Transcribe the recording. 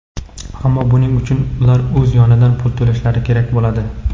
ammo buning uchun ular o‘z yonidan pul to‘lashi kerak bo‘ladi.